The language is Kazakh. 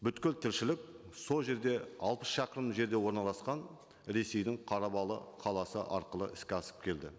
тіршілік сол жерде алпыс шақырым жерде орналасқан ресейдің қарабалы қаласы арқылы іске асып келді